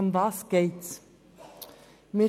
Worum geht es?